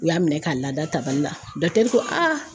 U y'a minɛ ka lada tabali la ko